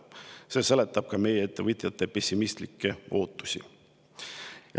See seletab ka meie ettevõtjate pessimistlikke ootusi.